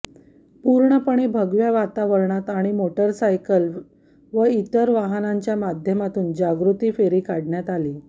पूर्णपणे भगव्या वातावरणात आणि मोटारसायकल व इतर वाहनांच्या माध्यमातून जागृती फेरी काढण्यात आली